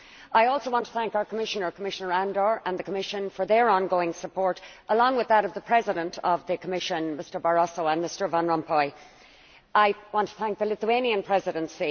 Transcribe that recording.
I also want to thank our Commissioner, Commissioner Andor, and the Commission for their ongoing support, along with that of the President of the Commission, Mr Barroso, and Mr Van Rompuy. I want to thank the Lithuanian Presidency.